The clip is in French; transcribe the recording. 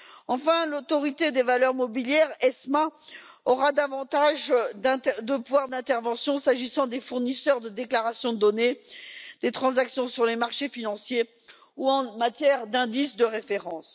Enfin, l'autorité des valeurs mobilières, l'ESMA, aura davantage de pouvoir d'intervention en ce qui concerne les fournisseurs de déclaration de données et les transactions sur les marchés financiers ou en matière d'indices de référence.